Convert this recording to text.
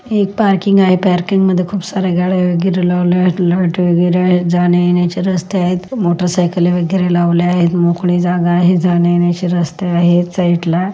एक पार्किंग आहे पार्किंग मध्ये खूप सार्‍या गाड्या वगैरे लावल्यावर आहेत जाण्या-येण्याचा रस्ते आहेत मोटर सायकले वगैरे लावले आहेत मोकळी जागा आहे जाण्या-येण्याची रस्ता आहेत साइडला .